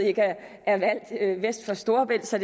ikke er valgt vest for storebælt så